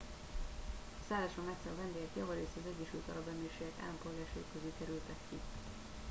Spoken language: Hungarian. a szálláson megszálló vendégek javarészt az egyesült arab emírségek állampolgárai közül kerültek ki